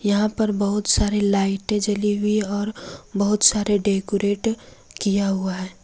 यहां पर बहुत सारे लाइटें जली हुई और बहुत सारे डेकोरेट किया हुआ है।